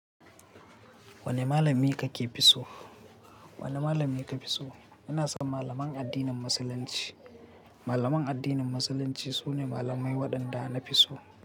Wane malami kake fi so? Wane malami ka fi so? Ina son malaman addinin Musulunci. Malaman addinin Musulunci sune malamai waɗanda na fi so.